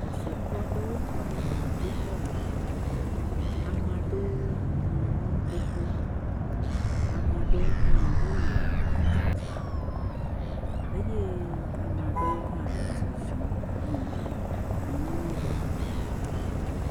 Xɔsetɔ aɖe wò va gbedoxɔ me. Ame aɖewo nɔ anyi xoxo. Ame aɖewo hã wole atsitre eye ame aɖewo hã le zɔzɔm yina anyi nɔ ƒe.